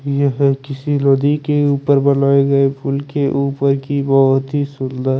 ये किसी नदी के ऊपर बनाये गये पूल के ऊपर की बोहोत ही सुन्दर --